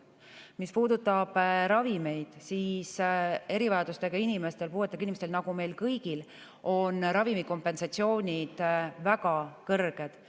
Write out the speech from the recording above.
Mis puudutab ravimeid, siis erivajadustega inimestel, puuetega inimestel nagu meil kõigil on ravimikompensatsioonid väga kõrged.